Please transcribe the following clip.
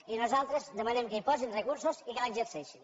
i nosaltres demanem que hi posin recursos i que l’exerceixin